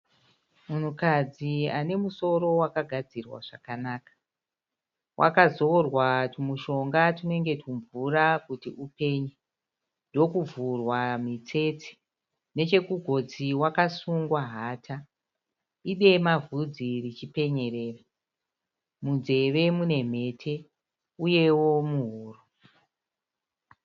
Munhukadzi ane musoro wakadzirwa zvakanaka. Wakazorwa tumushonga tunenge tumvura kuti upenye ndokuvhurwa mitsetse. Nechekugotsi wakasungwa hata. Idema bvudzi richipenyerera. Munzeve mune mhete uyewo muhuro.